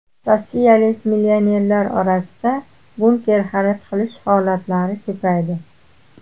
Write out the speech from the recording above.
Rossiyalik millionerlar orasida bunker xarid qilish holatlari ko‘paydi.